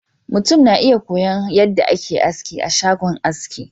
mutum na iya koyon yadda ake aski a shagon shagon aski